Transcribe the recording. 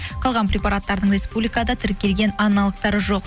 қалған преператтардың республикада тіркелген аналогтары жоқ